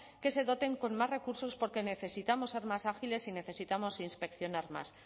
que se doten con más recursos porque necesitamos ser más ágiles y necesitamos inspeccionar más